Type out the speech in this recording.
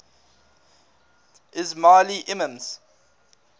ismaili imams